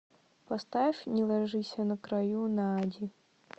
поставь не ложися на краю наади